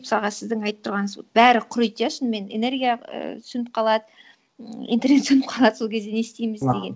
мысалға сіздің айтып тұрғаныңыз вот бәрі құриды иә шынымен энергия ііі сөніп қалады ммм интернет сөніп қалады сол кезде не істейміз деген